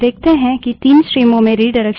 इस प्रक्रिया को रिडाइरेक्शन कहते हैं